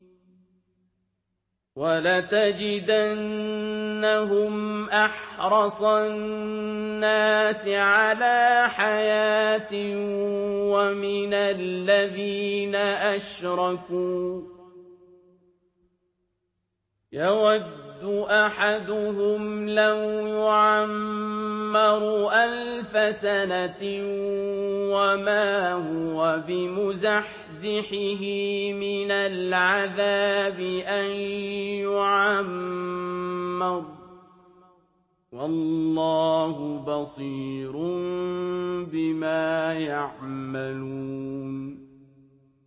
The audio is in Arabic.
وَلَتَجِدَنَّهُمْ أَحْرَصَ النَّاسِ عَلَىٰ حَيَاةٍ وَمِنَ الَّذِينَ أَشْرَكُوا ۚ يَوَدُّ أَحَدُهُمْ لَوْ يُعَمَّرُ أَلْفَ سَنَةٍ وَمَا هُوَ بِمُزَحْزِحِهِ مِنَ الْعَذَابِ أَن يُعَمَّرَ ۗ وَاللَّهُ بَصِيرٌ بِمَا يَعْمَلُونَ